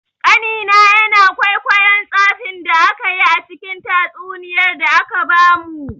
Ƙanina yana kwaikwayon tsafin da akayi a cikin tatsuniyar da aka bamu.